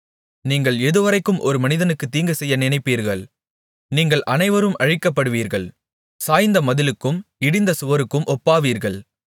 நீங்கள் எதுவரைக்கும் ஒரு மனிதனுக்குத் தீங்குசெய்ய நினைப்பீர்கள் நீங்கள் அனைவரும் அழிக்கப்படுவீர்கள் சாய்ந்த மதிலுக்கும் இடிந்த சுவருக்கும் ஒப்பாவீர்கள்